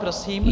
Prosím.